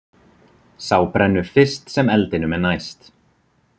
Sá brennur fyrst sem eldinum er næst.